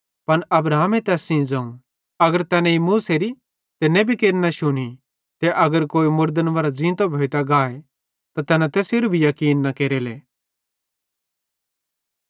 पन अब्राहम तैस सेइं ज़ोवं अगर तैना मूसेरी ते नेबी केरि न शुनी ते अगर कोई मुड़दन मरां ज़ींतो भोइतां गाए त तैना तैसेरू भी याकीन न केरेले